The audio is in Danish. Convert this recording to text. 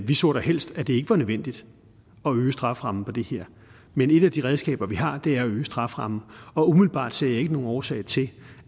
vi så da helst at det ikke var nødvendigt at øge strafferammen for det her men et af de redskaber vi har er at øge strafferammen og umiddelbart ser jeg ikke nogen årsag til